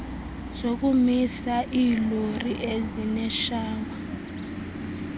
zokumisa iilori ezineshawa